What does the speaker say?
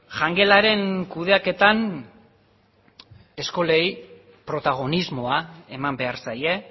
jangelaren kudeaketan eskolei protagonismoa eman behar zaie